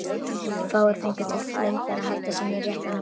Fáir fengu til lengdar að halda sínu rétta nafni.